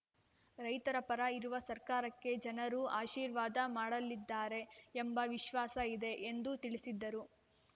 ರೈತರ ಪರ ಇರುವ ಸರ್ಕಾರಕ್ಕೆ ಜನರು ಆಶೀರ್ವಾದ ಮಾಡಲಿದ್ದಾರೆ ಎಂಬ ವಿಶ್ವಾಸ ಇದೆ ಎಂದು ತಿಳಿಸಿದರು